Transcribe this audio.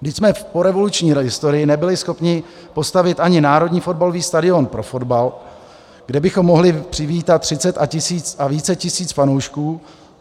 Vždyť jsme v porevoluční historii nebyli schopni postavit ani národní fotbalový stadion pro fotbal, kde bychom mohli přivítat třicet a více tisíc fanoušků.